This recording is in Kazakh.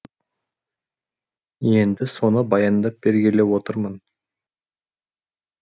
енді соны баяндап бергелі отырмын